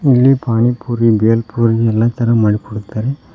ಇಲ್ಲಿ ಪಾನಿಪುರಿ ಬೇಲ್ ಪುರಿ ಎಲ್ಲ ತರ ಮಾಡಿಕೊಡುತ್ತಾರೆ.